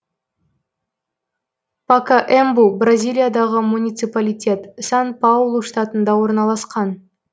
пакаэмбу бразилиядағы муниципалитет сан паулу штатында орналасқан